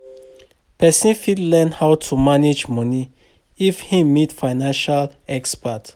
person fit learn how to manage money if im meet financial expert